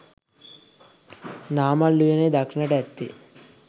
නාමල් උයනේ දක්නට ඇත්තේ